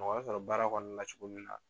Mɔgɔ bɛ sɔrɔ baara kɔni la cogo min na.